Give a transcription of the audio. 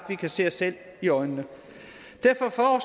vi kan se os selv i øjnene derfor